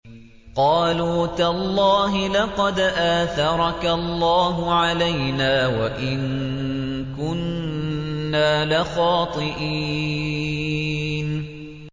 قَالُوا تَاللَّهِ لَقَدْ آثَرَكَ اللَّهُ عَلَيْنَا وَإِن كُنَّا لَخَاطِئِينَ